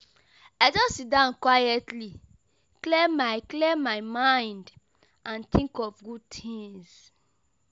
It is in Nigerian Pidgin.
I just sit down quietly, clear my clear my mind and think of good things.